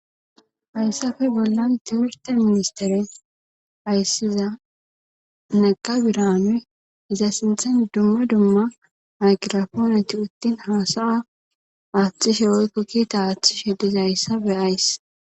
hayssafe bollan timirtte ministere ayssiza nega biranu iza sinthan dumma dumma magiraponne utti haasaya aaththishe woykko kiita aaththishe dizazayssa beyays.